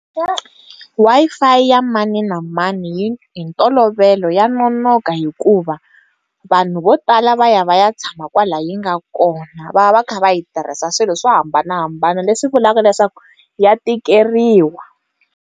Wi-Fi ya mani na mani hi ntolovelo ya nonoka hikuva vanhu vo tala va ya va ya tshama kwala yi nga kona va va va kha va yi tirhisa swilo swo hambanahambana leswi vulavula leswaku ya tikeriwa.